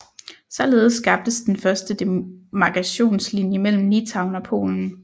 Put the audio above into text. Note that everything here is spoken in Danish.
Således skabtes den første demarkationslinje mellem Litauen og Polen